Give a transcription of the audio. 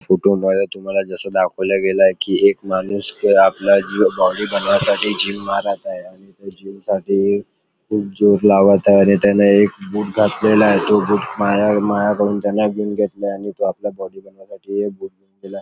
फोटोमध्ये तुम्हाला जस दाखवल गेलय की एक माणूस आपल्या जीव बॉडी बनवण्यासाठी जिम मारत आहे आणि त्या जीम साठी खूप जोर लावत आहे आणि त्याने एक बूट घातलेला आहे आणि तो बूट माया मायाकडून त्यानी घेतलाय आणि तो बॉडी बनवण्यासाठी --